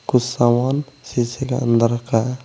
कुछ सामान शीशे के अंदर रखा है।